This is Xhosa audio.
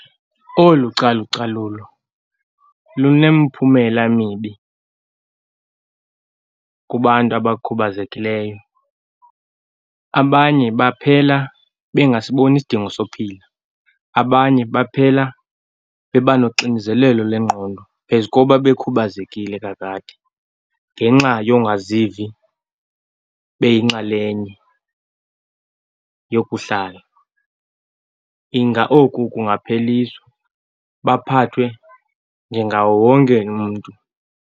Olu calucalulo lunemphumela mibi kubantu abakhubazekileyo. Abanye baphela bengasiboni isidingo sophila, abanye baphela beba noxinizelelo lengqondo phezu koba bekhubazekile kakade ngenxa yongazivi beyinxalenye yokuhlala. Inga oku kungapheliswa, baphathwe njengawo wonke umntu.